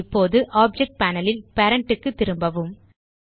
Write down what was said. இப்போது object panel ல் parent க்கு திரும்பவும்